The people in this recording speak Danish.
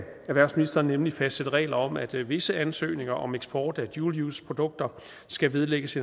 erhvervsministeren nemlig fastsætte regler om at visse ansøgninger om eksport af dual use produkter skal vedlægges